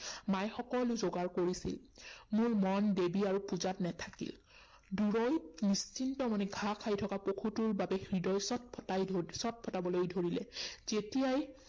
মায়ে সকলো যোগাৰ কৰিছিল। মোৰ মন দেৱী আৰু পূজাত নেথাকিল। দূৰৈত নিশ্চিত মনে ঘাঁহ খাই থকা পশুটোৰ বাবে হৃদয় ছটফটাই ধৰি, ছটফটাবলৈ ধৰিলে। তেতিয়াই